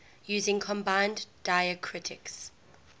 using combining diacritics